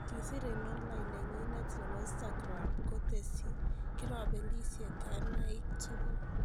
Kisiir en online nenyinet nebo Instagram, koteesyi : kirabelisye kaynaaik tukul